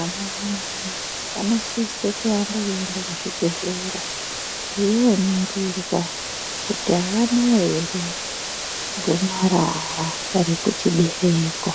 Ana mai vanosise kuramba veienda kuzvibhedhlera veinoningirwa kuti avana here gomarara rekuchibereko